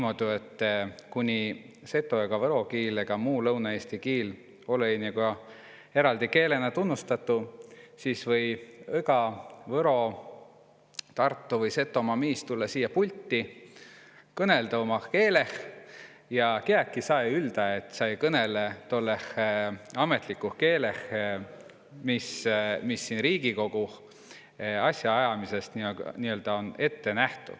Õgaüts, kiä siia pulti tulõ kõnõlõma kas Seto-, Võro- vai Tartumaalt, või tuud tetä umah keeleh, kuna tuu olõ-i eräldi kiil, vaid om sjoosama kiil, mida Riigikogoh või asjaajamisõs kasuta.